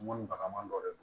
Mɔni bagaman dɔ de don